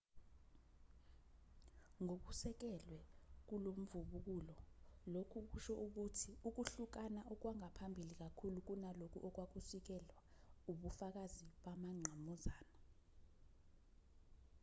ngokusekelwe kulomvubukulo lokhu kusho ukuthi ukuhlukana okwangaphambili kakhulu kunalokho okwakusikiselwa ubufakazi bamangqamuzana